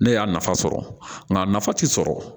Ne y'a nafa sɔrɔ nka nafa ti sɔrɔ